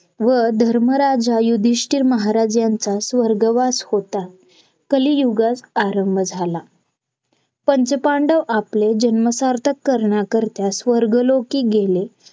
व धर्मराजा युधिष्टिर महाराज यांचा स्वर्गवास होता कलियुगात आरंभ झाला पंच पांडव आपले जन्म सार्थक करण्याकरिता स्वर्ग लोकी गेले.